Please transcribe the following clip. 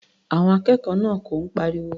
Àwọn akẹ́kọ̀ọ́ náà kọ̀ ń pariwo.